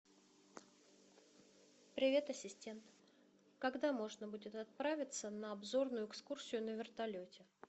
привет ассистент когда можно будет отправиться на обзорную экскурсию на вертолете